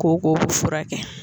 Koko fura kɛ.